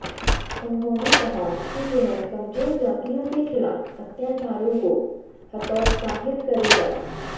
उन्होंने कहा कि यह कमजोर जातियों के खिलाफ अत्याचारों को हतोत्साहित करेगा